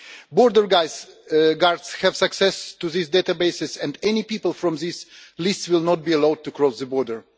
Border guards have access to these databases, and any people from these lists will not be allowed to cross the border.